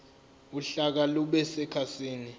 uhlaka lube sekhasini